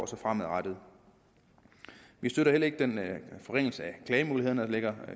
så fremadrettet vi støtter heller ikke den forringelse af klagemulighederne der ligger